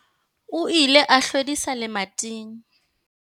O ile a hlwedisa lemating.